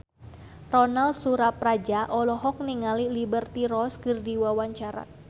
Ronal Surapradja olohok ningali Liberty Ross keur diwawancara